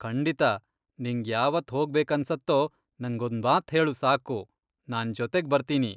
ಖಂಡಿತಾ, ನಿಂಗ್ ಯಾವತ್ ಹೋಗ್ಬೇಕನ್ಸತ್ತೋ ನಂಗೊಂದ್ಮಾತ್ ಹೇಳು ಸಾಕು, ನಾನ್ ಜೊತೆಗ್ ಬರ್ತೀನಿ.